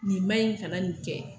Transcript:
Nin ma ɲin, kana nin kɛ.